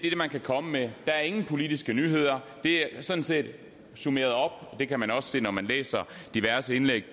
man kan komme med der er ingen politiske nyheder det er sådan set summeret op og det kan man også se når man læser diverse indlæg